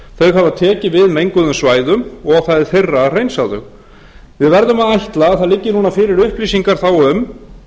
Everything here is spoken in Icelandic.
þau hafi tekið við menguðum svæðum og það er þeirra að hreinsa þau við verðum að ætla að það liggi núna fyrir upplýsingar þá um